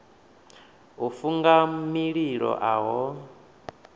u funga mililo a ho